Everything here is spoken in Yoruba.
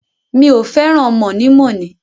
Mi ò fẹ́ràn mọ̀nímọ̀ní.